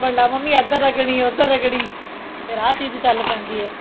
ਸਾਬਣ ਲਾ ਮੰਮੀ ਇੱਧਰ ਰਗੜੀ ਉੱਧਰ ਰਗੜੀ ਫੇਰ ਆਹ ਚੀਜ਼ ਚੱਲ ਪੈਂਦੀ ਏ